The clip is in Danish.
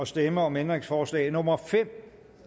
stemme om ændringsforslag nummer fem